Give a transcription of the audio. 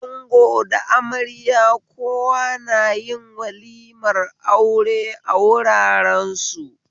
Ango da amarya kowa na yin walimar aure a wuraren su